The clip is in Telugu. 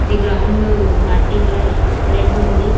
ఇది గ్రౌండ్ మట్టి కలర్ రెడ్ ఉంది.